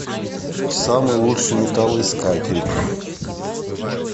самый лучший металлоискатель